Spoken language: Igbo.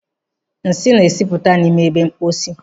Nsị na-esipụta n'ime ebe mposi.